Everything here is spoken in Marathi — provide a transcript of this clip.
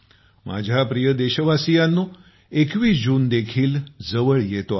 माझ्या प्रिय देशवासियांनो 21 जून देखील जवळ येतो आहे